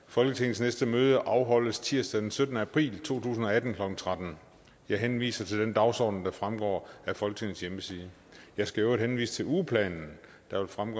folketingets næste møde afholdes tirsdag den syttende april to tusind og atten klokken tretten jeg henviser til den dagsorden der fremgår af folketingets hjemmeside jeg skal i øvrigt henvise til ugeplanen der fremgår